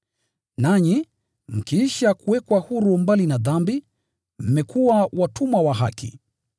Nanyi, mkiisha kuwekwa huru mbali na dhambi, mmekuwa watumwa wa haki.